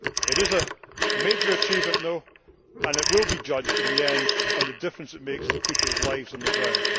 It is a major achievement though, and it will be judged in the end on the difference it makes to people's lives on the ground.